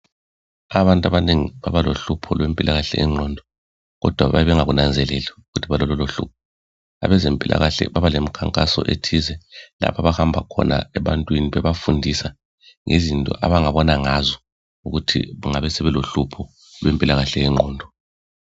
Abantu abanengi babalohlupho lwempilakahle yengqondo kodwa babengakunanzeleli ukuthi balalolohlupho. Abezempilakahle babalemikhankaso ethize lapho abahamba khona ebantwini bebafundisa ngezinto abangabona ngazo ukuthi kungabe sebelohlupho lwempilakahle yengqondo.